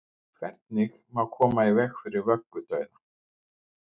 Hvernig má koma í veg fyrir vöggudauða?